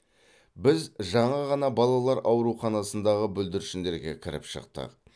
біз жаңа ғана балалар ауруханасындағы бүлдіршіндерге кіріп шықтық